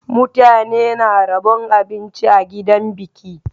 Mutane na rabon abinci a gidan biki.